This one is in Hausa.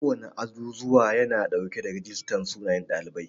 Kowana azuzuwa yana dauke da rijistar sunayen ɗalibai.